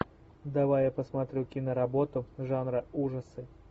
давай я посмотрю киноработу жанра ужасы